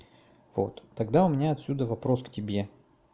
вот тогда у меня отсюда вопрос к тебе